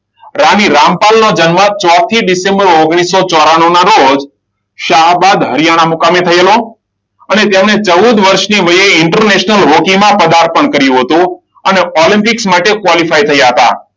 રાણી રામપાલ નો જન્મ ચોથી ડિસેમ્બર ઓગણીસો ચોરાણુંના રોજ સાહાબાદ હરિયાણા મુકામે થયેલો. અને તેમની ચૌદ વર્ષની વયે ઇન્ટરનેશનલ હોકીમાં પદાર્પણ થયું હતું. અને ઓલમ્પિક માટે ક્વોલિફાય થયા હતા.